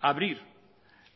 abrir